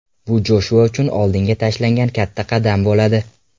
Bu Joshua uchun oldinga tashlangan katta qadam bo‘ladi.